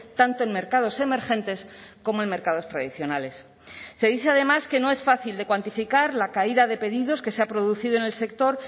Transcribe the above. tanto en mercados emergentes como en mercados tradicionales se dice además que no es fácil de cuantificar la caída de pedidos que se ha producido en el sector